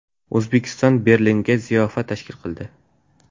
O‘zbekiston Berlinda ziyofat tashkil qildi.